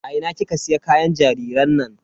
A ina kika siya kayan jariran nan?